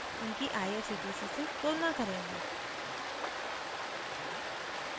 उनकी irctc से तुलना करेंगे